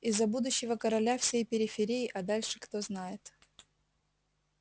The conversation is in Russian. и за будущего короля всей периферии а дальше кто знает